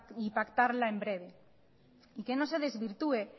y pactarla en breve y que no se desvirtué